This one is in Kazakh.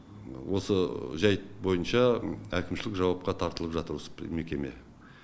осы жайт бойынша әкімшілік жауапқа тартылып жатыр осы мекеме